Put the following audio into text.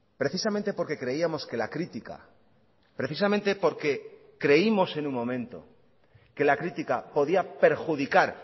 precisamente porque creíamos que la crítica precisamente porque creímos en un momento que la crítica podía perjudicar